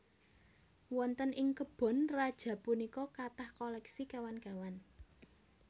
Wonten ing kebon raja punika kathah koleksi kéwan kéwan